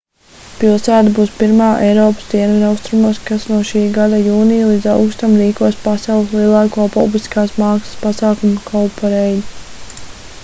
pilsēta būs pirmā eiropas dienvidaustrumos kas no šī gada jūnija līdz augustam rīkos pasaules lielāko publiskās mākslas pasākumu cowparade